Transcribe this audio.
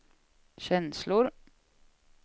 känslor